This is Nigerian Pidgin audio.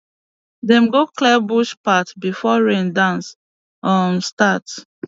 dem go clear bush path before rain dance um start